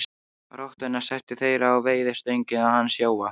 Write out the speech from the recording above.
Rottuna settu þeir á veiðistöngina hans Jóa.